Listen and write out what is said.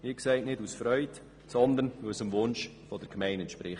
Das geschieht nicht aus Freude, sondern weil es dem Wunsch der Gemeinde entspricht.